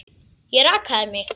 Ég rakaði mig.